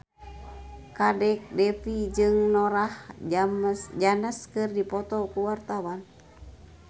Kadek Devi jeung Norah Jones keur dipoto ku wartawan